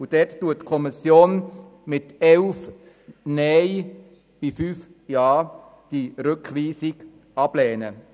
Die Kommission lehnt die Rückweisung mit 5 zu 11 Stimmen ab.